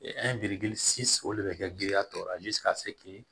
o de bɛ kɛ giriya tɔ